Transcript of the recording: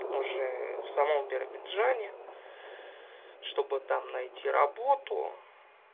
уже в самом биробиджане чтобы там найти работу